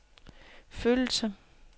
følelser